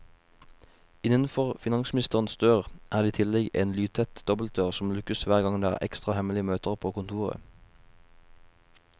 Innenfor finansministerens dør er det i tillegg en lydtett dobbeltdør, som lukkes hver gang det er ekstra hemmelige møter på kontoret.